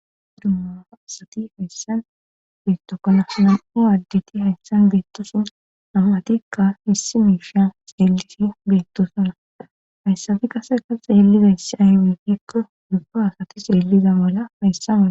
dumma aasati hayssan beettokana nam7o addeti hayssan beettosun namatikka issi miishia xeelisi beettosana hayssabi qaseka xeelidayssi aywigikko dubba asati xeelliza mala hayssa maaa